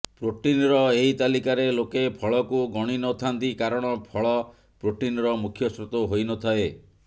ପ୍ରୋଟିନର ଏହି ତାଲିକାରେ ଲୋକେ ଫଳକୁ ଗଣିନଥାନ୍ତି କାରଣ ଫଳ ପ୍ରୋଟିନର ମୁଖ୍ୟ ସ୍ରୋତ ହୋଇନଥାଏ